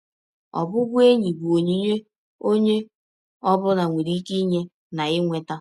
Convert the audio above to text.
Ọbụbụenyi bụ ọnyịnye ọnye ọ bụla nwere ịke inye na inweta.